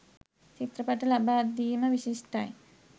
චිත්‍රපට ලබා දීම විශිෂ්ටයි.